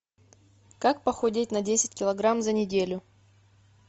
как похудеть на десять килограмм за неделю